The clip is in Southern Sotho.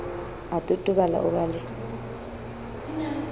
a totobala o ba le